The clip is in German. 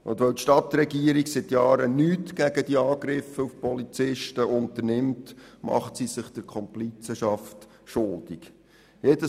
Es ist hier auch ein Thema, weil die Stadtregierung seit Jahren nichts gegen diese Angriffe auf Polizisten unternimmt und sich der Komplizenschaft schuldig macht.